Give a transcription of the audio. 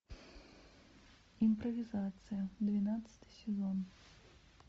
импровизация двенадцатый сезон